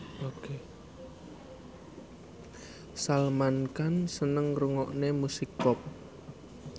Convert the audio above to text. Salman Khan seneng ngrungokne musik pop